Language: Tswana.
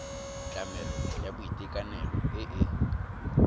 tlamelo ya boitekanelo e e